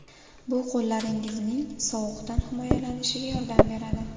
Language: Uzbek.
Bu qo‘llaringizning sovuqdan himoyalanishiga yordam beradi.